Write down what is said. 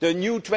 The new